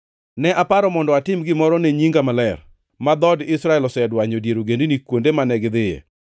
Ne aparo mondo atim gimoro ne nyinga maler, ma dhood Israel nosedwanyo e dier ogendini kuonde mane gidhiye.